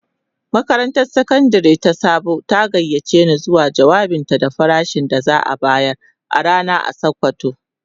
Makarantar Sakandare ta Sabo ta gayyace ni zuwa jawabinta da farashin da za'a bayar a rana a sokoto.